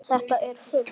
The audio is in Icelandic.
Þetta er fugl.